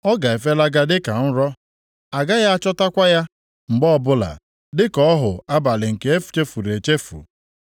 Ọ ga-efelaga dịka nrọ, agaghị achọtakwa ya mgbe ọbụla, dịka ọhụ abalị nke e chefuru echefu.